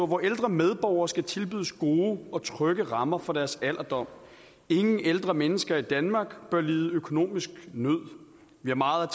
vore ældre medborgere skal tilbydes gode og trygge rammer for deres alderdom ingen ældre mennesker i danmark bør lide økonomisk nød vi har meget